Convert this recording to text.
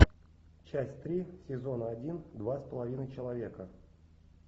часть три сезона один два с половиной человека